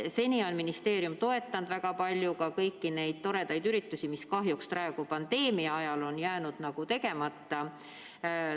Seni on ministeerium toetanud väga palju ka kõiki neid toredaid üritusi, mis kahjuks praegu, pandeemia ajal on jäänud tegemata.